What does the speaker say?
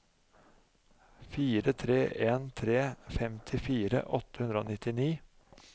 fire tre en tre femtifire åtte hundre og nittini